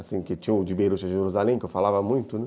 Assim, que tinha o de Beirute a Jerusalém, que eu falava muito, né?